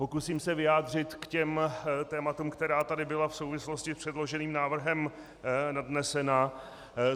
Pokusím se vyjádřit k těm tématům, která tady byla v souvislosti s předloženým návrhem nadnesena.